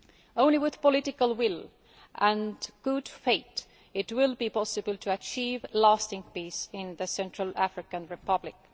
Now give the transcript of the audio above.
Only with political will and good faith will it be possible to achieve lasting peace in the Central African Republic.